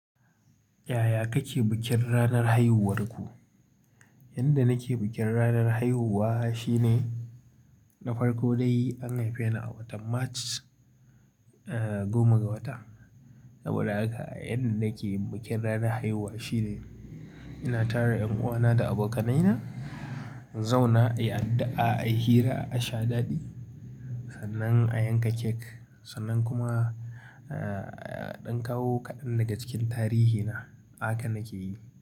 Yaya kake bikin ranar haihuwarku? Yanda nake bikin ranar haihuwa shine na farko dai an haife ni a watan March, eh goma ga wata. Saboda a haka a yanda nake bikin ranar haihuwa shine ina tara 'yan uwana da abokanaina zauna, a yi addu'a, a yi hira, a sha daɗi, sannan a yanka cake sannan kuma eh ɗan kawo kaɗan daga cikin tarihi na haka nake yi.